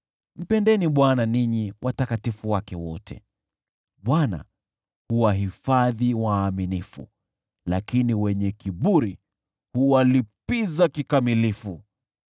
Mpendeni Bwana ninyi watakatifu wake wote! Bwana huwahifadhi waaminifu, lakini wenye kiburi huwalipiza kikamilifu.